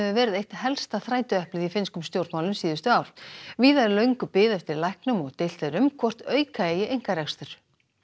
verið eitt helsta þrætueplið í finnskum stjórnmálum síðustu ár víða er löng bið eftir læknum og deilt er um hvort auka eigi einkarekstur